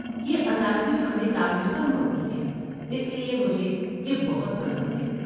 یہ اطالوی فن تعمیر پر مبنی ہے، اس لیے مجھے یہ بہت پسند ہے۔